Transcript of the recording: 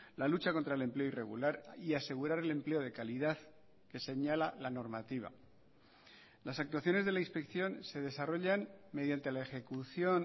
la lucha contra el empleo irregular y asegurar el empleo de calidad que señala la normativa las actuaciones de la inspección se desarrollan mediante la ejecución